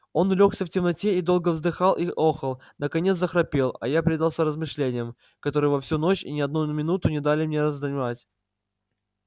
он улёгся в темноте и долго вздыхал и охал наконец захрапел а я предался размышлениям которые во всю ночь ни на одну минуту не дали мне задремать